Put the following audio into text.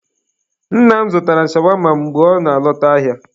Nna m zụtara m shawama mgbe ọ na-alọta ahịa.